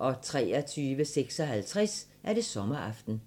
23:56: Sommeraften